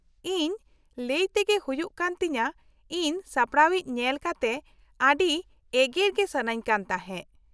ᱤᱧ ᱞᱟ.ᱭ ᱛᱮᱜᱮ ᱦᱩᱭᱩᱜ ᱠᱟᱱ ᱛᱤᱧᱟ. ᱤᱧ ᱥᱟᱯᱲᱟᱣᱤᱡ ᱧᱮᱞ ᱠᱟᱛᱮ ᱟ.ᱰᱤ ᱮᱜᱮᱨ ᱜᱮ ᱥᱟ.ᱱᱟ.ᱧ ᱠᱟᱱ ᱛᱟᱦᱮᱸ ᱾